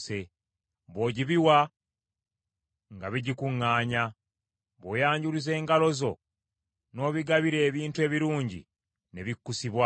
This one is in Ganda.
Bw’ogibiwa, nga bigikuŋŋaanya; bw’oyanjuluza engalo zo n’obigabira ebintu ebirungi ne bikkusibwa.